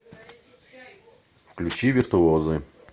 включи виртуозы